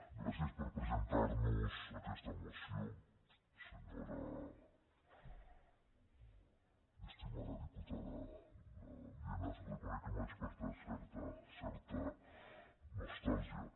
gràcies per haver nos presentat aquesta moció senyora i estimada diputada lienas reconec que m’ha despertat certa certa nostàlgia